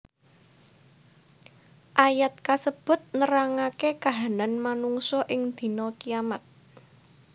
Ayat kasebut nerangake kahanan manungsa ing dina kiyamat